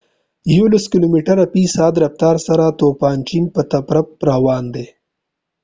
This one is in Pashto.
يولس کلوميتره في ساعت رفتار سره توپان چين په طرف روان دي